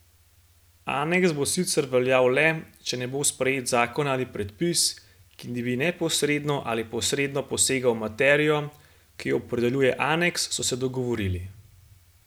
Aneks bo sicer veljal le, če ne bo sprejet zakon ali predpis, ki bi neposredno ali posredno posegal v materijo, ki jo opredeljuje aneks, so se dogovorili.